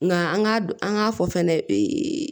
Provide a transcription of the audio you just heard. Nka an k'a dun an k'a fɔ fɛnɛ ee